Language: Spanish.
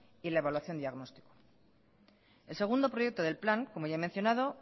y la evaluación diagnóstica el segundo proyecto del plan como ya he mencionado